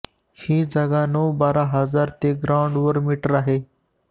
ही जागा नऊ बारा हजार ते ग्राउंड वर मीटर आहे